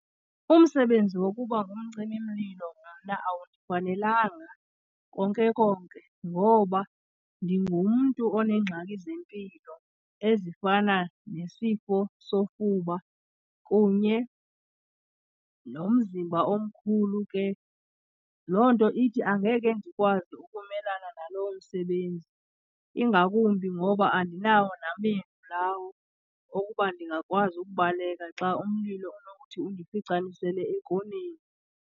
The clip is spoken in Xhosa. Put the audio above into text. Umsebenzi wokuba ngumcimimlilo mna awundifanelanga konke konke ngoba ndingumntu oneengxaki zempilo ezifana nesifo sofuba kunye nomzimba omkhulu. Ke loo nto ithi angeke ndikwazi ukumelana naloo msebenzi, ingakumbi ngoba andinawo namendu lawo okuba ndingakwazi ukubaleka xa umlilo unokuthi undificanisele ekoneni.